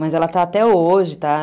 Mas ela está até hoje, tá?